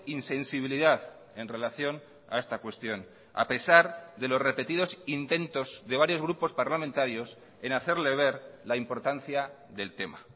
insensibilidad en relación a esta cuestión a pesar de los repetidos intentos de varios grupos parlamentarios en hacerle ver la importancia del tema